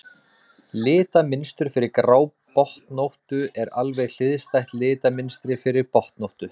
litamynstur fyrir grábotnóttu er alveg hliðstætt litamynstri fyrir botnóttu